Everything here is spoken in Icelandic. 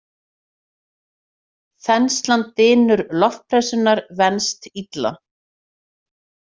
Þenslan Dynur loftpressunnar venst illa.